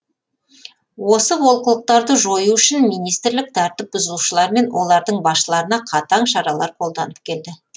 осы олқылықтарды жою үшін министрлік тәртіп бұзушылар мен олардың басшыларына қатаң шаралар қолданып келді